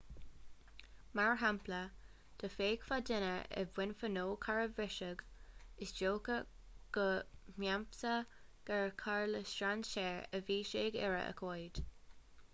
mar shampla dá bhfeicfeá duine i mbun fuinneog cairr a bhriseadh is dócha go mheasfá gur carr le strainséir a bhí sé ag iarraidh a ghoid